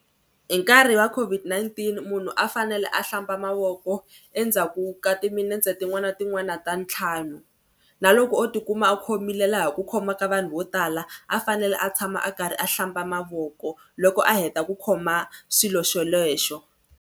Hi nkarhi wa COVID-19 munhu a fanele a hlamba mavoko endzhaku ka timinetse tin'wana na tin'wana ta ntlhanu na loko o tikuma a khomile laha ku khoma ka vanhu vo tala a fanele a tshama a karhi a hlamba mavoko loko a heta ku khoma xilo xolexo.